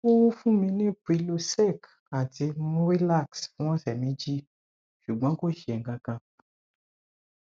ó fún mi ní prylosec àti murilax fún ọsẹ méjì ṣùgbọn kò ṣe kankan